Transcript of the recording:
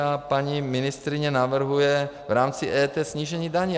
A paní ministryně navrhuje v rámci EET snížení daně.